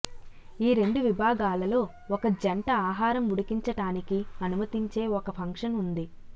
ఈ రెండు విభాగాలలో ఒక జంట ఆహారం ఉడికించటానికి అనుమతించే ఒక ఫంక్షన్ ఉంది